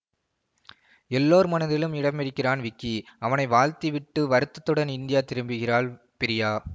எல்லோர் மனதிலும் இடம்பிடிக்கிறான் விக்கி அவனை வாழ்த்தி விட்டு வருத்தத்துடன் இந்தியா திரும்புகிறாள் பிரியா